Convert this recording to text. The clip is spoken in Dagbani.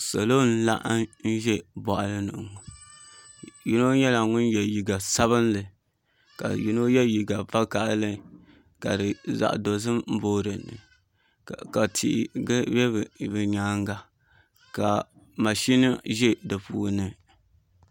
Salo n laɣam ʒɛ boɣali ni ŋo yino nyɛla ŋun yɛ liiga sabinli ka yino yɛ liiga vakaɣali ka zaɣ dozim booi dinni ka tihi bɛ bi nyaanga ka mashin ʒɛ di puuni